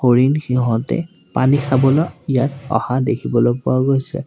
হৰিণ সিহঁতে পানী খাবলৈ ইয়াত অহা দেখিবলৈ পোৱা গৈছে।